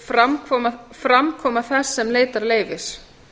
fjórða framkoma þess sem leitar leyfis